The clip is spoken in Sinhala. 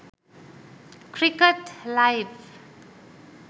cricket live